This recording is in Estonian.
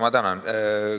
Ma tänan!